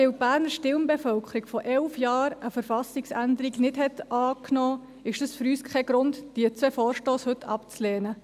Dass die Berner Stimmbevölkerung vor elf Jahren eine Verfassungsänderung nicht angenommen hat, ist es für uns kein Grund, diese zwei Vorstösse heute abzulehnen.